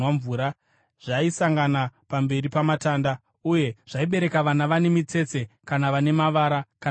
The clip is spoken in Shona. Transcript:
zvaisangana pamberi pamatanda. Uye zvaibereka vana vane mitsetse kana vane mavara kana makwapa.